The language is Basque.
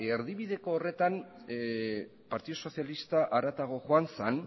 erdibideko horretan partidu sozialista haratago joan zen